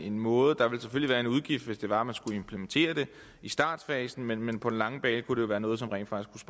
en måde der vil selvfølgelig være en udgift hvis det var man skulle implementere det i startfasen men men på den lange bane kunne det være noget som rent faktisk